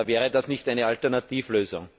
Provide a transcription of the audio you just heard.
Wäre das nicht eine Alternativlösung?